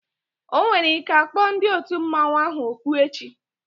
Onwere ike akpọ ndị otu mmanwu ahụ oku echi